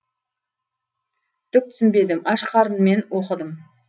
түк түсінбедім аш қарынмен оқыдым